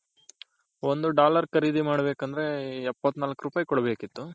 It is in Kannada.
ಒಂದು dollar ಖರೀದಿ ಮಾಡ್ ಬೆಕಂದ್ರೆ ಎಪ್ಪತ್ನಾಲ್ಕ್ ರೂಪಾಯ್ ಕೊಡ್ ಬೇಕಿತ್ತು.